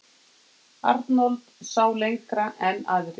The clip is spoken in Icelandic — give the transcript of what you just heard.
Arnold sá lengra en aðrir.